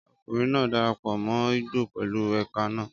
Ọkùnrin náà darapọ̀ mọ́ igbó pẹ̀lú èékánná.